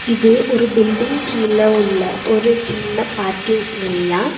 இது ஒரு பில்டிங் கீழ உள்ள ஒரு சின்ன பார்க்கிங் ஏரியா .